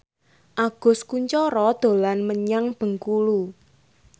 Agus Kuncoro dolan menyang Bengkulu